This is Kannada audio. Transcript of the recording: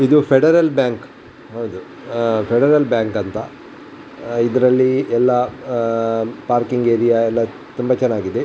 ಇದು ಫೆಡರಲ್ ಬ್ಯಾಂಕ್ ಫೆಡರಲ್ ಬ್ಯಾಂಕ್ ಅಂತ ಇದರಲ್ಲಿ ಎಲ್ಲ ಆಹ್ಹ್ ಪಾರ್ಕಿಂಗ್ ಏರಿಯಾ ಎಲ್ಲ ತುಂಬಾ ಚೆನ್ನಾಗಿದೆ.